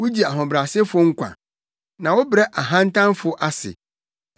Wugye ahobrɛasefo nkwa, na wobrɛ ahantanfo ase.